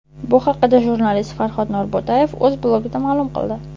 Bu haqda jurnalist Farhod Norbo‘tayev o‘z blogida ma’lum qildi .